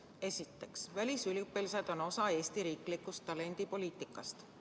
Esiteks, välisüliõpilased on osa Eesti riiklikust talendipoliitikast.